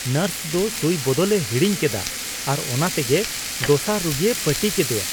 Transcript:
Nurse ᱫᱚ ᱥᱩᱭ ᱵᱚᱫᱚᱞ ᱮ ᱦᱤᱲᱤᱧ ᱠᱮᱫᱟ ᱟᱨ ᱚᱱᱟ ᱛᱮᱜᱮ ᱫᱚᱥᱟᱨ ᱨᱩᱜᱤᱭ ᱯᱟᱹᱴᱤ ᱠᱮᱫᱮᱭᱟ ᱾